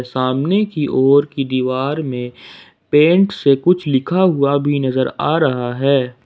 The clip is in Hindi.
सामने की ओर की दीवार में पेंट से कुछ लिखा हुआ भी नजर आ रहा है।